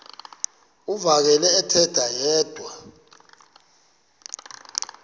uvakele ethetha yedwa